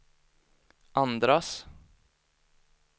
andras